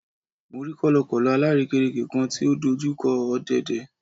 Mo rí kọ̀lọ̀kọ̀lọ̀ alárèékérekè kan tí ó dojú kọ ọ̀dẹ̀dẹ̀